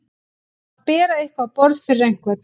Að bera eitthvað á borð fyrir einhvern